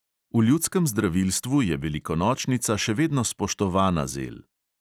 V ljudskem zdravilstvu je velikonočnica še vedno spoštovana zel.